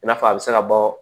I n'a fɔ a bɛ se ka bɔ